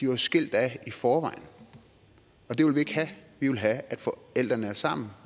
jo skilt ad i forvejen det vil vi ikke have vi vil have at forældrene er sammen